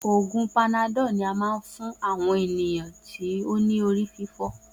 Oògùn panadol ní a máa ń fún àwọn èèyàn tó ní orí fífọ́